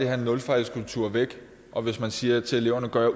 her nulfejlskultur væk og hvis man siger til eleverne gør